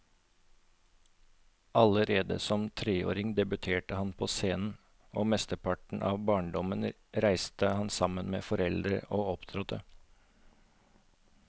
Allerede som treåring debuterte han på scenen, og mesteparten av barndommen reiste han sammen med foreldrene og opptrådte.